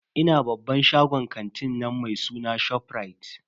Ina babban shagon kantin nan mai suna ShopRite.